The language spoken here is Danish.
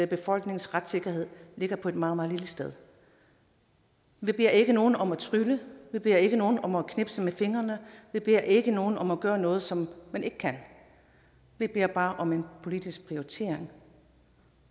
befolknings retssikkerhed ligger på et meget meget lille sted vi beder ikke nogen om at trylle vi beder ikke nogen om at knipse med fingrene vi beder ikke nogen om at gøre noget som man ikke kan vi beder bare om en politisk prioritering